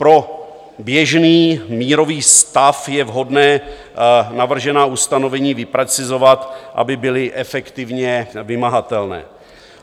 Pro běžný mírový stav je vhodné navržená ustanovení vyprecizovat, aby byla efektivně vymahatelná.